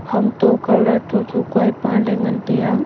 hamto color thotho kua e pa le ngan tai a.